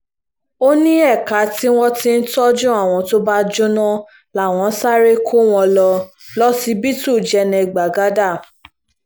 ó ní ẹ̀ka tí wọ́n ti ń tọ́jú àwọn tó bá jóná làwọn sáré kó wọn lọ lọsibítù jẹ́nẹ́ gbagada